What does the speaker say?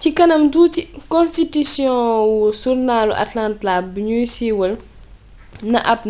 ci kanam tuuti konstitisiyon wu surnaalu atlanta buñu siiwal na ab